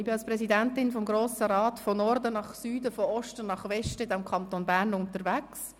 Ich war als Präsidentin des Grossen Rats von Norden nach Süden, von Osten nach Westen im Kanton Bern unterwegs.